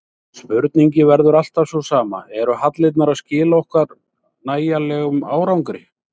Spurningin verður alltaf sú sama, eru hallirnar að skila okkur nægilegum árangri?